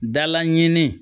Dala ɲini